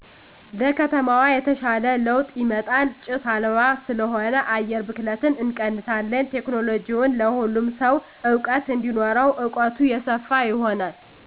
ለከተማዋ የተሻለ ለዉጥ ይመጣል ጭስ አልባ ስለሆነ አየር ብክለትን እንቀንሳለን ቴክኖለሎጅዉን ለሁሉም ሰዉ እዉቀት እንዲኖረዉ እዉቀቱ የሰፋ ይሆናል